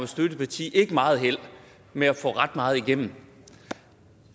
støtteparti ikke meget held med at få ret meget igennem